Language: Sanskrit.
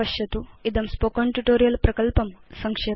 इदं स्पोकेन ट्यूटोरियल् प्रकल्पं संक्षेपयति